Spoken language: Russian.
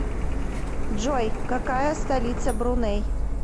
джой какая столица бруней